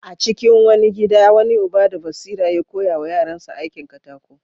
A cikin wani gida, wani uba da basira ya koya wa yaransa aikin katako.